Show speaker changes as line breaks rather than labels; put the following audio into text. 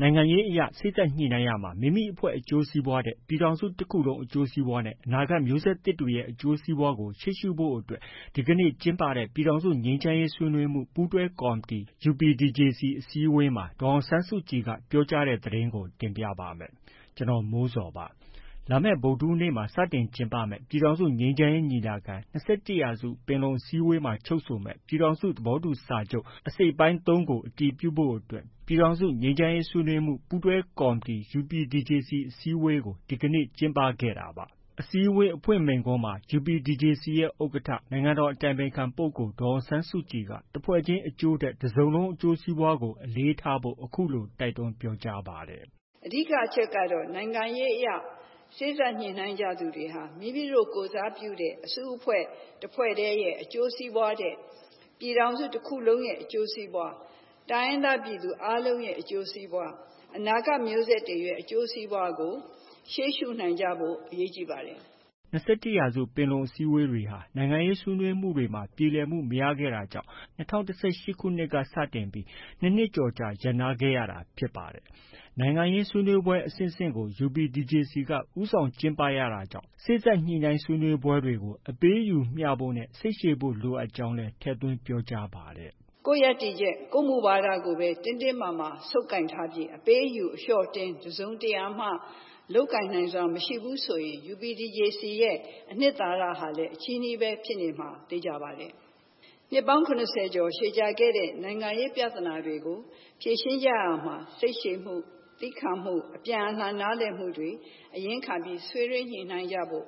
နိုင်ငံရေးအရ စေ့စပ်ညှိနှိုင်းရာမှာ မိမိအဖွဲ့အကျိုးစီးပွားထက် ပြည်ထောင်စုတစ်ခုလုံး အကျိုးစီးပွားနဲ့ အနာဂတ်မျိုးဆက်သစ်တွေရဲ့ အကျိုးစီးပွားကို ရှေ့ရှုဖို့အတွက် ဒီနေ့ကျင်းပတဲ့ ပြည်ထောင်စုငြိမ်းချမ်းရေး ဆွေးနွေးမှု ပူးတွဲကော်မတီအစည်းအဝေး UPDJC မှာ ဒေါ်အောင်ဆန်းစုကြည်က ပြောကြားတဲ့ သတင်းကို ဗွီအိုအေမြန်မာပိုင်းသတင်းထောက် ကိုမိုးဇော်က တင်ပြပေးပါမယ်။ လာမယ့် ဗုဒ္ဓဟူးနေ့မှာ စတင်မယ့် ပြည်ထောင်စုငြိမ်းချမ်းရေးညီလာခံ- ၂၁ရာစုပင်လုံ စတုတ္ထအစည်းအဝေးမှာ ချုပ်ဆိုမယ့် ပြည်ထောင်စုသဘောတူစာချုပ် အစိတ်အပိုင်း ၃ ပါ အချက်တွေကို အတည်ပြုဖို့အတွက် ပြည်ထောင်စုငြိမ်းချမ်းရေး ဆွေးနွေးမှု ပူးတွဲကော်မတီအစည်းအဝေး UPDJC အစည်းအဝေးကို ဒီကနေ့ ကျင်းပခဲ့တာပါ။ အစည်းအဝေးအဖွင့်မိန့်ခွန်းမှာ UPDJC ရဲ့ ဥက္ကဋ္ဌ နိုင်ငံတော်အတိုင်ပင်ခံပုဂ္ဂိုလ် ဒေါ်အောင်ဆန်းစုကြည်က တစ်ဖွဲ့ချင်းအကျိုးထက် တစ်စုံလုံးအကျိုးစီးပွားကို အလေးထားဖို့ အခုလို တိုက်တွန်းပြောကြားပါတယ်။
“အဓိက အချက်ကတော့ နိုင်ငံရေးအရ စေ့စပ်ညှိနှိုင်းသူတွေဟာ မိမိတို့ ကိုယ်စားပြုတဲ့အစုအဖွဲ့ တစ်ဖွဲ့ထဲရဲ့ အကျိုးစီးပွားထက် ပြည်ထောင်စုတစ်ခုလုံးရဲ့ အကျိုးစီးပွား၊ တိုင်းရင်းသားပြည်သူအားလုံးရဲ့ အကျိုးစီးပွား၊ အနာဂတ်မျိုးဆက်တွေရဲ့ အကျိုးစီးပွားကို ရှေ့ရှုနိုင်ကြဖို့ အရေးကြီးပါတယ်
။” ၂၁ ရာစုပင်လုံအစည်းအဝေးတွေဟာ နိုင်ငံရေးဆွေးနွေးမှုတွေမှာ ပြေလည်မှု မရခဲ့တာကြောင့် ၂၀၁၈ ခုနှစ်က စတင်ပြီး ၂နှစ်ကျော်ကြာရပ်နားခဲ့ရတာဖြစ်ပါတယ်။ နိုင်ငံရေးဆွေးနွေးပွဲ အဆင့်ဆင့်ကို UPDJC က ဦးဆောင်ကျင်းပခဲ့ရတာကြောင့် စေ့စပ်ညှိနှိုင်းရေး ဆွေးနွေးပွဲတွေကို အပေးအယူမျှဖို့နဲ့ စိတ်ရှည်ဖို့ လိုအပ်ကြောင်းလည်း ထည့်သွင်းပြောကြားပါတယ်။
“ကိုယ့်ရပ်တည်ချက်၊ ကိုယ့်မူဝါဒကိုပဲ တင်းတင်းမာမာ ဆုပ်ကိုင်ထားပြီး အပေးအယူ၊ အလျှော့အတင်း တစ်စုံတစ်ရာ လုပ်ကိုင်နိုင်စွမ်းမရှိဘူးဆိုရင် UPDJC ရဲ့ အနှစ်သာရဟာ အချည်းနှီးပဲ ဖြစ်နေမှာ သေချာပါတယ်။ နှစ်ပေါင်း ၇၀ ကျော်ရှည်ကြာခဲ့တဲ့ နိုင်ငံရေးပြဿနာတွေကို ဖြေရှင်းကြရာမှာ စိတ်ရှည်မှု၊ သည်းခံမှု၊ အပြန်အလှန်နားလည်မှု အရင်းခံပြီးဆွေးနွေးညှိနှိုင်းကြဖို့